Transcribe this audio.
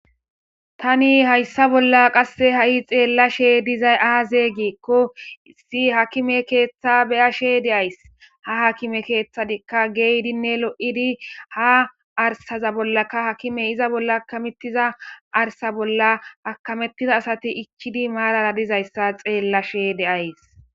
Tani hayssa bolla qasse ha'i xeellashe dizay aazee giikko, issi hakime keeththa be'ashe de'ays. Ha hakime keeththatikka geydinne lo'idi ha arsaza bollaka hakime iza bolla akamettiza arsa bolla akamettiza asati ichchidi maarara diza issa xeellashe de'ays.